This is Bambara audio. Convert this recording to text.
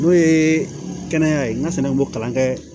N'o ye kɛnɛya ye n ka sɛnɛ b'o kalan kɛ